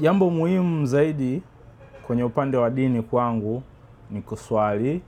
Jambo muhimu zaidi kwenye upande wa dini kwangu ni kuswali,